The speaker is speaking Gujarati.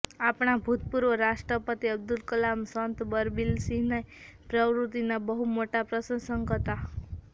આપણા ભૂતપૂર્વ રાષ્ટ્રપતિ અબ્દુલ કલામ સંત બલબીરસિંહની પ્રવૃત્તિનાં બહુ મોટા પ્રશંસક હતાં